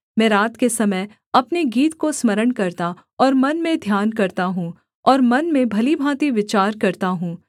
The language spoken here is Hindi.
मैं रात के समय अपने गीत को स्मरण करता और मन में ध्यान करता हूँ और मन में भली भाँति विचार करता हूँ